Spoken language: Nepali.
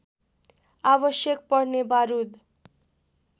आवश्यक पर्ने बारुद